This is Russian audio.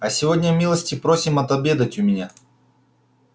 а сегодня милости просим отобедать у меня